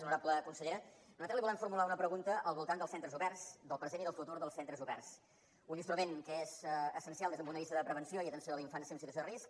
honorable consellera nosaltres li volem formular una pregunta al voltant dels centres oberts del present i del futur dels centres oberts un instrument que és essencial des d’un punt de vista de prevenció i atenció a la infància en situació de risc